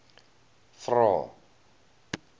vvvvrae